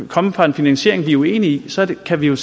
komme fra en finansiering vi er uenige i så kan vi